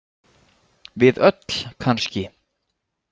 Við öll kannski?